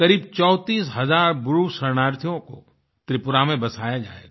करीब 34000 ब्रूशरणार्थियों को त्रिपुरा में बसाया जाएगा